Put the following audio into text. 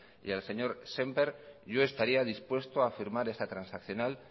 y al señor sémper yo estaría dispuesto a firmar esta transaccional